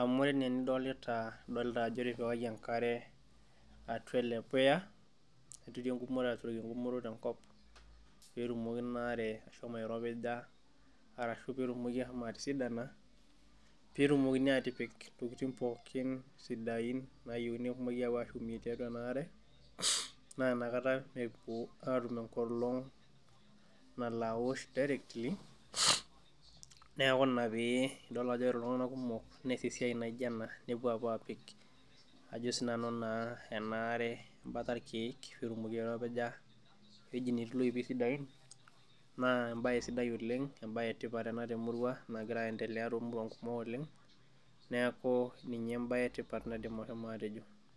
amu ore enaa enidolita idolta ajo etipikaki enkare atua ele puya neturi engumoto aturoki engumoto tenkop petumoki ina are ashomo airopija ashu etumoki ashomo atisidana petumokini atipik intokitin pookin sidain nayieuni nepuoi apuo ashumie tiatua ena are naa inakata epuo atum enkolong naaolo awosh directly neeku ina pee idol ajo ore iltung'anak kumok nees esiai naijio ena nepuo apuo apik ajo sinanu naa ena are embata irkeek petumoki airopija ewueji netii iloipi sidain naa embaye sidai oleng embaye etipat ena temurua nagira aendelea tomuruan kumok oleng neeku ninye embaye etipat naidim ahomo atejo.